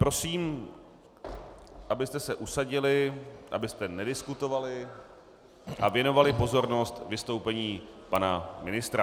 Prosím, abyste se usadili, abyste nediskutovali a věnovali pozornost vystoupení pana ministra.